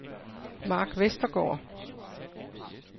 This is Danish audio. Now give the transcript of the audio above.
Mark Vestergaard